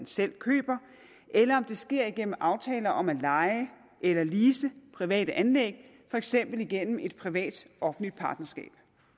selv køber eller om det sker igennem aftaler om at leje eller lease private anlæg for eksempel igennem et privat offentlig partnerskab